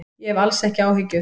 Ég hef alls ekki áhyggjur.